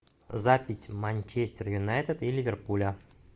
запись манчестер юнайтед и ливерпуля